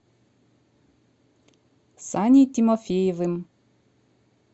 саней тимофеевым